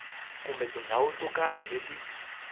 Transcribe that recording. kumbe tindhawu to karhi leti